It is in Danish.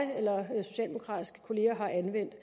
jeg eller socialdemokratiske kolleger har anvendt